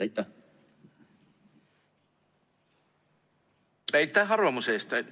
Aitäh arvamuse eest!